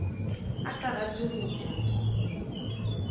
a sa rate go ja